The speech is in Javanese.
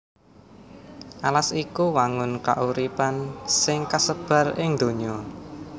Alas iku wangun kauripan sing kasebar ing donya